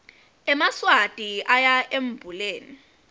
emaswati oya embuleni